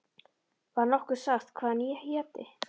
Var nokkuð sagt hvað hann héti?